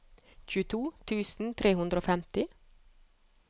tjueto tusen tre hundre og femti